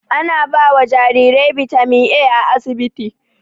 Ana bawa jarirai bitamin A a asibiti